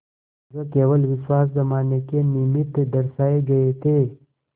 जो केवल विश्वास जमाने के निमित्त दर्शाये गये थे